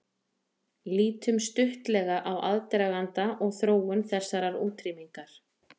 Lítum stuttlega á aðdraganda og þróun þessarar útrýmingar.